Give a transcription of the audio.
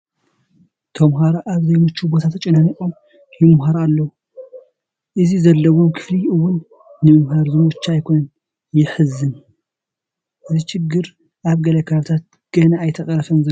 ተመሃሮ ኣብ ዘይምችዉ ቦታ ተጨናኒቖም ይመሃሩ ኣለዉ፡፡ እቲ ዘለውዎ ክፍሊ እውን ንምምሃር ዝምቹ ኣይኮነን፡፡ የሕዝን፡፡ እዚ ሽግር ኣብ ገለ ከባብታት ገና ኣይተቐረፈን ዘሎ፡፡